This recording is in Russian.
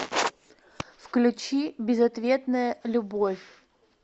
включи безответная любовь